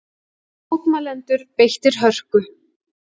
Mótmælendur beittir hörku